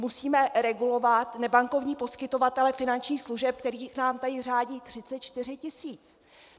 Musíme regulovat nebankovní poskytovatele finančních služeb, kterých nám tady řádí 34 tisíc.